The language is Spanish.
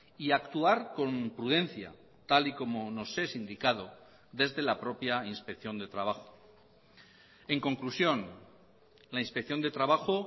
y actuar con prudencia tal y como nos es indicado desde la propia inspección de trabajo en conclusión la inspección de trabajo